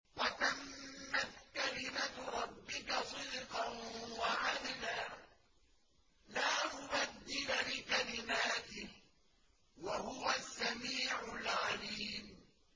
وَتَمَّتْ كَلِمَتُ رَبِّكَ صِدْقًا وَعَدْلًا ۚ لَّا مُبَدِّلَ لِكَلِمَاتِهِ ۚ وَهُوَ السَّمِيعُ الْعَلِيمُ